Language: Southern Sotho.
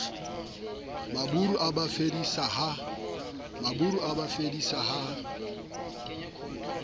maburu a ba phedisa ha